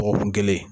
Dɔgɔkun kelen